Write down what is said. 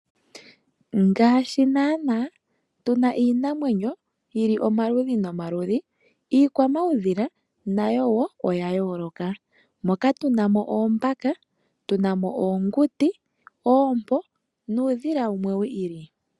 Ngaashi naana tuna iinamwenyo yili omaludhi nomaludhi, iikwamaudhila nayo wo oya yooloka. Moka tuna mo Oombaka, tuna mo Oonguti, Oompo nuudhila wumwe wi ili.